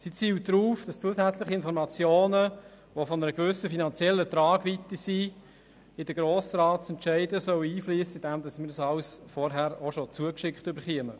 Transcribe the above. Diese zielt darauf, dass zusätzliche Informationen, die von einer gewissen finanziellen Tragweite sind, in die Grossratsentscheide einfliessen sollen, indem wir alles schon vorher zugeschickt erhalten.